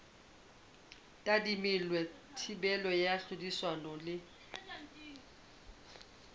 tadimilwe thibelo ya tlhodisano le